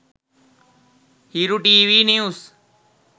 hiru tv news